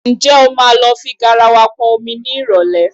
Ǹjẹ́ o máa lọ fi garawa pọn omi ní ìrọ̀lẹ̀?